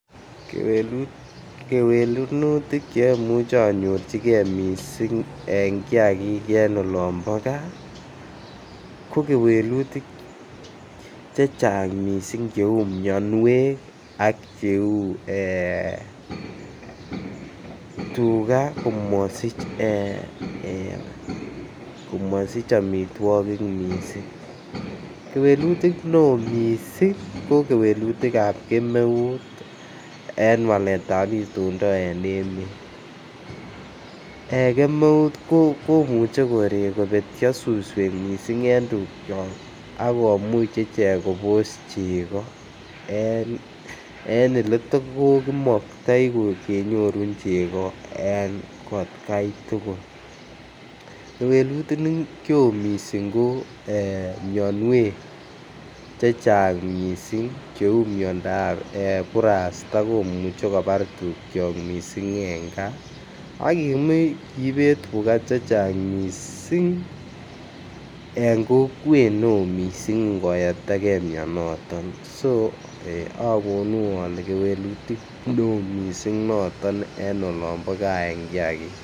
Kewelenutik che omuche onyorjigee missing' en kiagik en olombo gaa ko kewelutik chechang' missing' che uu mionwek ak che uu ee tuga komosich omitwokik missing'. Kewelutik ne oo missing' ko kewelutikab kemeut en waletab itondo en emet, en kemeut komuche koree kobetyo suswek missing' en tukyok ako much ichek Kobos chego en ole toko kimoktoi kenyorun chego en atkai tugul. Kewelutik che oo missing ko mionwek chechang' missing' che uu miondap burasta komuche kobar tukyok missing' en gaa ak kimuch kibet tuga chechang' missing' en kokwet ne ok missing' ngo yapta gee mionoton so ogono ole kewelutik ne oo missing' noton en olombo gaa en kiagik.